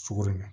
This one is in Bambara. Sogo ma